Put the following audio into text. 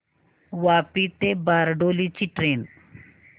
वापी ते बारडोली ची ट्रेन